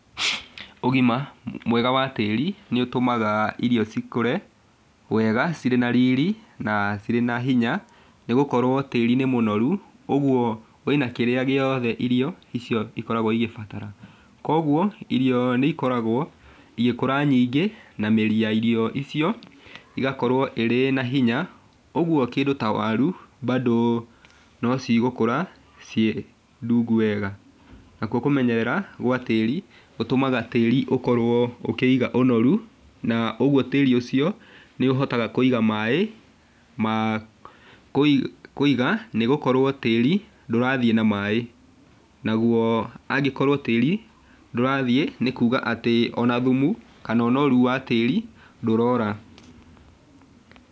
Ũgima, mwega wa tĩri, nĩũtũmaga irio cikũre, wega cirĩ na riri, na cirĩ na hinya, nĩgũkorwo tĩri nĩ mũnoru, ũguo, wĩna kĩrĩa gĩothe irio, icio ikoragwo igĩbatara, koguo, irio nĩikoragwo igĩkũra nyingĩ, na mĩri ya irio icio, ĩgakorwo ĩ na hinya, ũguo kĩndũ ta waru bado nocigũkũra ciĩ ndungu wega, nakuo kũmenyerera gwa tĩri gũtũmaga tĩri ũkorwo ũkĩiga ũnoru, na ũguo tĩri ũcio, nĩũhotaga kũiga maĩ, ma kũiga, nĩgũkorwo tĩri, ndũrathiĩ na maĩ, naguo angĩkorwo tĩri ndũrathiĩ nĩkuga atĩ ona thumu kana ũnoru wa tĩri, ndũrora.